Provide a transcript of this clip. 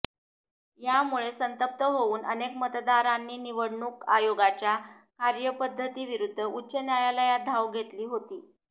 यामुळे संतप्त होऊन अनेक मतदारांनी निवडणूक आयोगाच्या कार्यपद्धतीविरुद्ध उच्च न्यायालयात धाव घेतली होती